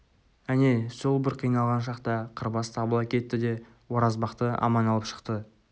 әне сол бір қиналған шақта қырбас табыла кетті де оразбақты аман алып шықты